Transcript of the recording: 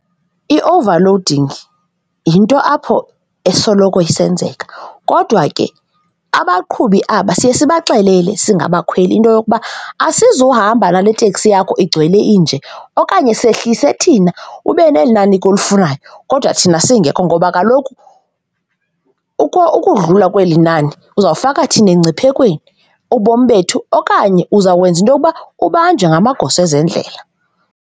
I-overloading yinto apho esoloko isenzeka kodwa ke abaqhubi aba siye sibaxelele singabakhweli into yokuba asizuhamba nale teksi yakho igcwele inje okanye sehlise thina ube neli nani ke olifunayo kodwa thina singekho ngoba kaloku ukudlula kweli nani, uzawufaka thina engciphekweni, ubomi bethu okanye uza kwenza into yokuba ubanjwe ngamagosa ezendlela.